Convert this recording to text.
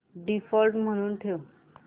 default म्हणून ठेव